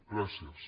gràcies